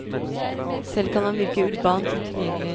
Selv kan han virke urbant utilgjengelig.